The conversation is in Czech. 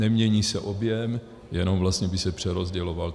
Nemění se objem, jenom vlastně by se přerozděloval.